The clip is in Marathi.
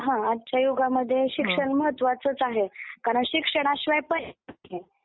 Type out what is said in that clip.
हा आजच्या युगामध्ये शिक्षण महात्त्वाचंच आहे कारण शिक्षणाशिवाय पर्याय नाही.